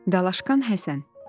Dalaşqan Həsən.